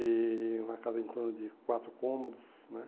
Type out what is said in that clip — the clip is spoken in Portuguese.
E uma casa em torno de quatro cômodos, né?